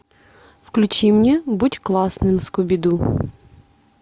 включи мне будь классным скуби ду